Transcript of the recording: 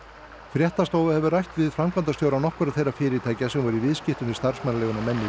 fréttastofa hefur rætt við framkvæmdastjóra nokkurra þeirra fyrirtækja sem voru í viðskiptum við starfsmannaleiguna menn í